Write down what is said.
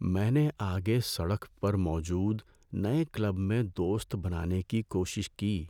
میں نے آگے سڑک پر موجود نئے کلب میں دوست بنانے کی کوشش کی،